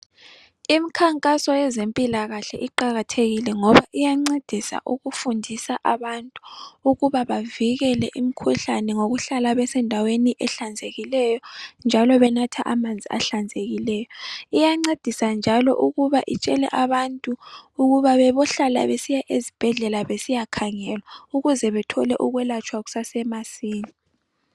Imikhankaso yezempilakahle iqakathekile ngoba iyancedisa ukufundisa abantu ukuba bavikele imikhuhlane ngokuhlala besendaweni ehlanzekileyo njalo benathe amanzi ahlanzekileyo, iyancedisa njalo ukuba itshele abantu ukuba bebohlala besiya ezibhedlela besiya khangelwa ukuze bethole ukwelatshwa kusasemasinya.